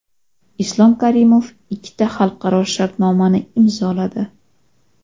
Islom Karimov ikkita xalqaro shartnomani imzoladi.